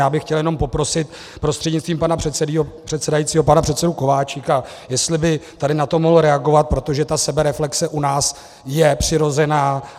Já bych chtěl jenom poprosit prostřednictvím pana předsedajícího pana předsedu Kováčika, jestli by tady na to mohl reagovat, protože ta sebereflexe u nás je přirozená.